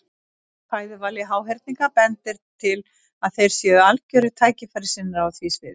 Rannsóknir á fæðuvali háhyrninga bendir til að þeir séu algjörir tækifærissinnar á því sviði.